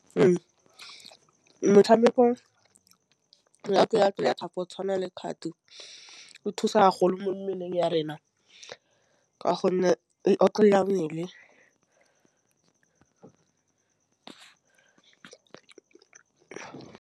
Metšhameko jaaka yaka jaaka go tshwana le kgato o thusa golo mo mmeleng ya rena ka gonne otlolola mmele.???